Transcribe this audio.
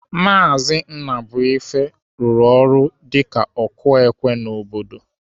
Maazi Ụzọbuife rụrụ ọrụ ka ọkụ ékwé n'obodo.